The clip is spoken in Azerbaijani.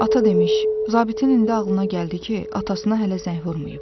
Ata demiş, zabitin indi ağlına gəldi ki, atasına hələ zəng vurmayıb.